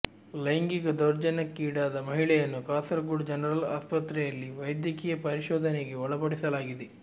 ಲೈಂಗಿಕ ದೌರ್ಜನ್ಯಕ್ಕೀಡಾದ ಮಹಿಳೆಯನ್ನು ಕಾಸರಗೋಡು ಜನರಲ್ ಆಸ್ಪತ್ರೆಯಲ್ಲಿ ವೈದ್ಯಕೀಯ ಪರಿಶೋಧನೆಗೆ ಒಳಪಡಿಸಲಾಗಿದೆ